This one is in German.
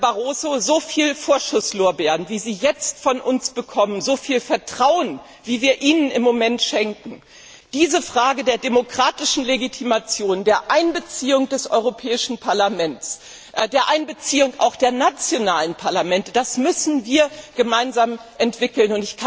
Herr Barroso, so viel Vorschusslorbeeren, wie Sie jetzt von uns bekommen, so viel Vertrauen, wie wir Ihnen im Moment schenken, diese Frage der demokratischen Legitimation, der Einbeziehung des Europäischen Parlaments, der Einbeziehung auch der nationalen Parlamente, das müssen wir gemeinsamen entwickeln.